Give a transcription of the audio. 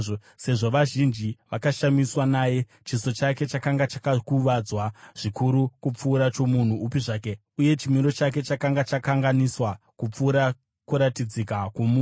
Sezvo vazhinji vakashamiswa naye, chiso chake chakanga chakakuvadzwa zvikuru, kupfuura chomunhu upi zvake, uye chimiro chake chakanga chakanganiswa, kupfuura kuratidzika kwomunhu,